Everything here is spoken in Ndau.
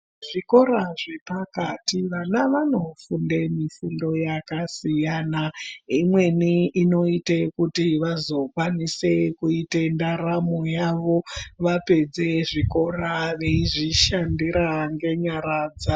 Zvikora zve pakati vana vano funde mifundo yaka siyana imweni ino ite kuti vazo kwanise kuite ndaramo yavo vapedze zvikora veizvi shandira nge nyara dzavo.